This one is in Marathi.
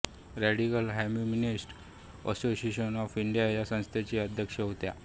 radical humanist association of India या संस्थेच्या त्या अध्यक्षा होत्या